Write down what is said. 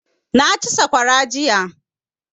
Na ci saƙwara jiya